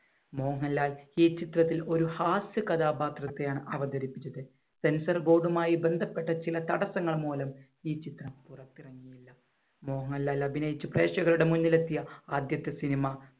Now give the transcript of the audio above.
മോഹൻലാൽ ഈ ചിത്രത്തിൽ ഒരു ഹാസ്യ കഥാപാത്രത്തെയാണ് അവതരിപ്പിച്ചത്. censor board മായി ബന്ധപ്പെട്ട ചില തടസ്സങ്ങൾ മൂലം ഈ ചിത്രം പുറത്തിറങ്ങിയില്ല. മോഹൻലാൽ അഭിനയിച്ച് പ്രേക്ഷകരുടെ മുന്നിലെത്തിയ ആദ്യത്തെ cinema